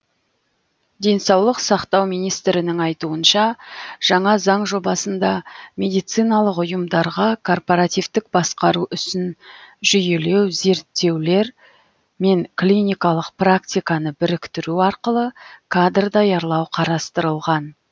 денсаулық сақтау министрінің айтуынша жаңа заң жобасында медициналық ұйымдардағы корпоративтік басқару ісін жүйелеу зерттеулер мен клиникалық практиканы біріктіру арқылы кадр даярлау қарастырылған